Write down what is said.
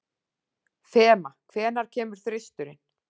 Fema, hvenær kemur þristurinn?